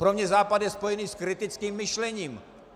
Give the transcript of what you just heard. Pro mě je Západ spojený s kritickým myšlením.